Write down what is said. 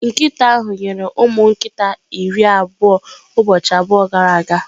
Nkịta ahụ nyere ụmụ nkita iri na abụọ ụbọchị abụọ gara aga